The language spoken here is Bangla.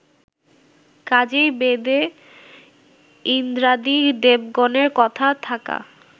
কাজেই বেদে ইন্দ্রাদি দেবগণের কথা থাকা